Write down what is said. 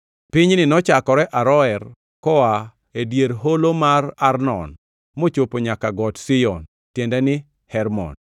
Pinyni nochakore Aroer koa e dier holo mar Arnon mochopo nyaka Got Siyon (tiende ni, Hermon),